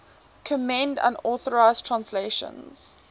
condemned unauthorized translations